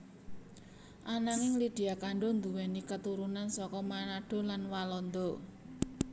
Ananging Lydia Kandou nduwèni katurunan saka Manado lan Walanda